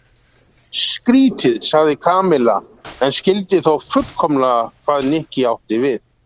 Skrýtið sagði Kamilla en skildi þó fullkomlega hvað Nikki átti við.